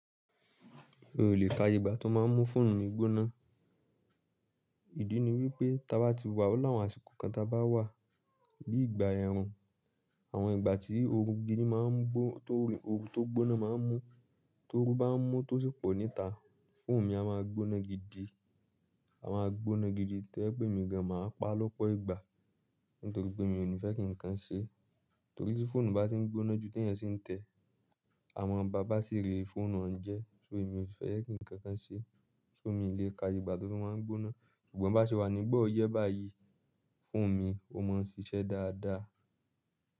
Mio lè ka iye igba tó máa ń mú fóònù mi gbóná. Ìdí ni wípé tí a bá ti wà láwùn àsìkò kan tá bá wà bí i ìgbà ẹ̀rùn, àwọn ìgbà tí oorun gidi máa ń gbó-- tó oorun tó gbóná máa ń mú, tó oorun bá ń mú tó sì pọ̀ níta, fóònù mi a máa gbóná gidi. A máa gbóná gidi tó ẹ pé emi gan máa pa lọ́pọ̀ ìgbà, nítorí pé mi ò ní fẹ́ kí ǹkan ṣe. Torí tí fóònù bá tí ń gbóná ju tẹ́ẹ̀ eyan sí ń tẹ̀, àmọn bà bátìrí fóònù han jẹ, so èmi ò fẹ́ jẹ kí ǹkan kan ṣe, so mi ò lè ka iye igba tó máa ń gbóná. Ṣùgbọ́n bá ṣe wà níbọ̀ ọyẹ́ báyìí, fóònù mi ó máa ń ṣiṣẹ́ dáadáa.